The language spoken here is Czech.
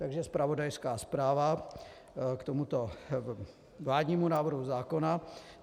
Takže zpravodajská zpráva k tomuto vládnímu návrhu zákona.